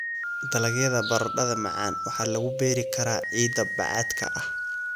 Dalagyada baradhada macaan waxaa lagu beeri karaa ciidda bacaadka ah.